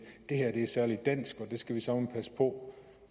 at det er særlig dansk og det skal vi søreme passe på